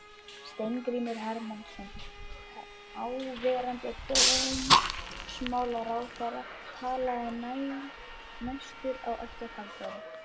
Steingrímur Hermannsson, þáverandi dómsmálaráðherra, talaði næstur á eftir Halldóri.